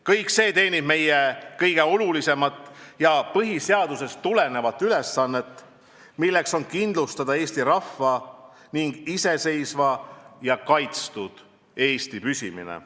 Kõik see teenib meie kõige olulisemat ja põhiseadusest tulenevat ülesannet, milleks on kindlustada Eesti rahva ning iseseisva ja kaitstud Eesti püsimine.